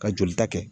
Ka joli ta kɛ